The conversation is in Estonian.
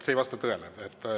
See ei vasta tõele.